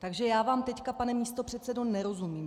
Takže já vám teď, pane místopředsedo, nerozumím.